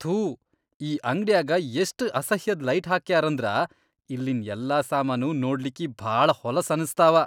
ಥೂ ಈ ಅಂಗ್ಡ್ಯಾಗ ಎಷ್ಟ್ ಅಸಹ್ಯದ್ ಲೈಟ್ಹಾಕ್ಯಾರಂದ್ರ ಇಲ್ಲಿನ್ ಯಲ್ಲಾ ಸಾಮಾನೂ ನೋಡ್ಲಿಕ್ಕಿ ಭಾಳ ಹೊಲಸ್ ಅನಸ್ತಾವ.